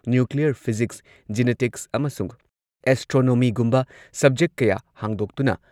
nuclear physics, genetics ꯑꯃꯁꯨꯡ ꯑꯦꯁꯇ꯭ꯔꯣꯅꯣꯃꯤꯒꯨꯝꯕ subject ꯀꯌꯥ ꯍꯥꯡꯗꯣꯛꯇꯨꯅ